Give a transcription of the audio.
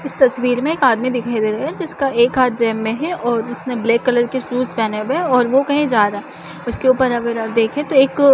इस तस्वीर में आदमी दिखाई दे रहा है जिसका एक हाथ जेब में है और उसने ब्लैक कलर के शूज पेहने हुए है और वो कही जा रहा है उसके ऊपर अगर हम देखे तो एक--